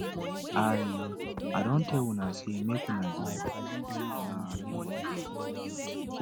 i i don tell una say make una dey una lane i know want